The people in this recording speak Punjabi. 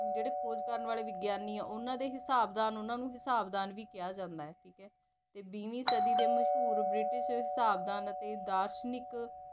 ਜਿਹੜੇ ਖੋਜ ਕਰਨ ਵਾਲੇ ਵਿਗਿਆਨੀ ਏ ਉਹਨਾ ਨੂੰ ਹਿਸਾਬ ਦਾਨ ਵੀ ਕਿਹਾ ਜਾਂਦਾ ਠੀਕੇ ਤੇ ਵੀਹਵੀ ਸਦੀ ਦੇ ਮਸ਼ਹੂਰ ਬ੍ਰਿਟਿਸ ਹਿਸਾਬ ਦਾਨ ਅਤੇ ਦਾਰਸ਼ਨਿਕ